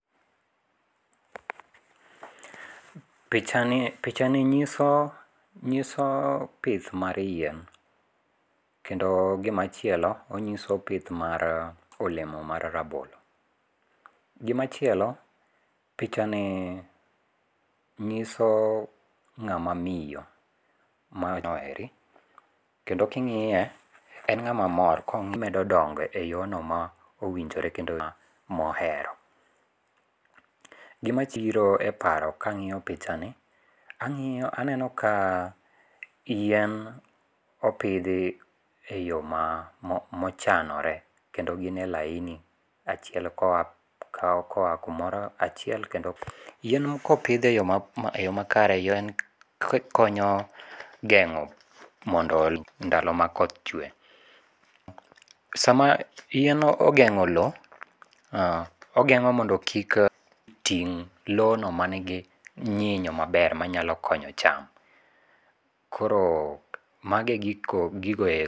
Pichani pichani nyiso , nyiso pith mar yien, kendo gimachielo onyiso pith mar olemo mar rabolo. Gimachielo pichani nyiso ng'ama miyo mano eri, kendo king'iye en ng'ama mor e yono ma owinjore kendo mohero, gimabiro e para kang'iyo pichani, ang'iyo aneno ka yien opithi e yo ma mochanore kendo ginie laini achiel ka oya kuomoro achiel kendo yien ka opithie e yo makare konyo geng'o moondo ndalo ma koth chwe. Sama yien ogeng'o lowo, ogeng'o mondo kik ting' lowno manigi nyinyo maber manyalo konyo cham koro mago e gigo eko